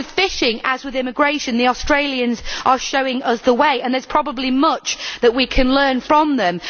With fishing, as with immigration, the Australians are showing us the way and there is probably much that we can learn from them.